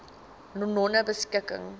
nonebeskikking